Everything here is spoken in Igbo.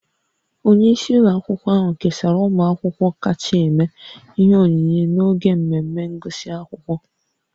Onye isi ụlọ akwụkwọ ahụ kesara ụmụ akwụkwọ kacha eme ihe onyinye n'oge mmemme ngụsị akwụkwọ